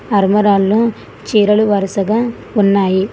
అల్మరాల్లో చీరలు వరుసగా ఉన్నాయి.